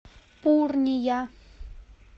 пурния